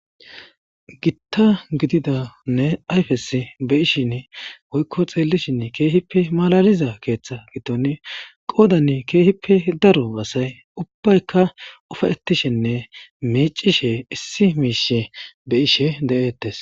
Gitta gididanne ayfes be ishin woykko xeellishinn keehippe malaliza keeththa giton qoodanne keehippe daro asay ubbaykka ufaetishinne meecishe issi miishe be ishe de'ettes